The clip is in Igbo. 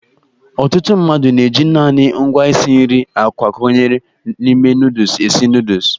Ọtụtụ mmadụ na-eji naanị ngwa isi nri a kwakọnyere n'ime nọdụs esi nọdụs.